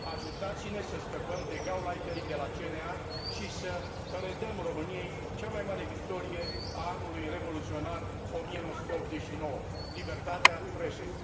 Ajutați ne să scăpăm de Gauleiterii de la CNA și să redăm României cea mai mare victorie a anului revoluționar 1989 libertatea presei!